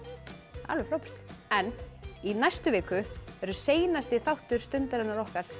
alveg frábært en í næstu viku verður seinasti þáttur Stundarinnar okkar